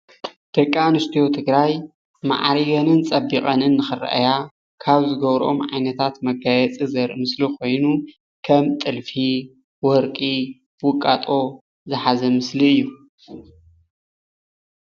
ደቂ ኣንስትዮ ትግራይ ማዕሪገንን ፀቢቐንን ንኽረኣያ ካብ ዝገብረኦም ዓይነትታት መጋየፂ ዘርኢ ምስሊ ኾይኑ ከም ጥልፊ፣ ወርቂ፣ ውቃጦ ዝሓዘ ምስሊ እዩ